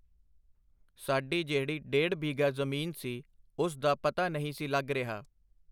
ਸਾਡੀ ਜਿਹੜੀ ਡੇਢ ਬਿੱਘਾ ਜ਼ਮੀਨ ਸੀ ਉਸ ਦਾ ਪਤਾ ਨਹੀਂ ਸੀ ਲੱਗ ਰਿਹਾ.